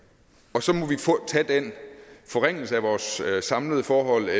og så må vi tage den forringelse af vores samlede forhold